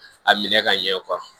A minɛ ka ɲɛ